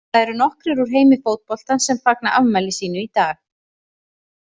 Það eru nokkrir úr heimi fótboltans sem fagna afmæli sínu í dag.